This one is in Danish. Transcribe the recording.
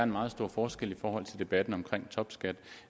meget stor forskel i forhold til debatten om topskat